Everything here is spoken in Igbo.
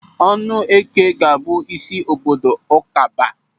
Ọnụeke ga-abụ isi obodo Ụkaba.